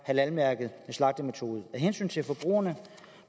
halal mærkede af hensyn til forbrugerne